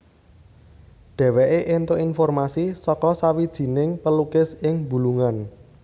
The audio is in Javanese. Dheweke entuk informasi saka sawijining pelukis ing Bulungan